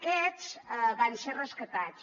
aquests van ser rescatats